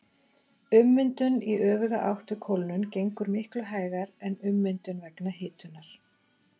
Ummyndun í öfuga átt við kólnun gengur miklu hægar en ummyndun vegna hitunar.